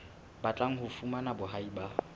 batlang ho fumana boahi ba